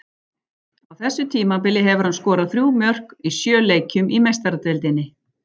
Á þessu tímabili hefur hann skorað þrjú mörk í sjö leikjum í Meistaradeildinni.